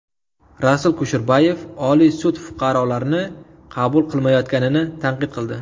Rasul Kusherbayev Oliy sud fuqarolarni qabul qilmayotganini tanqid qildi.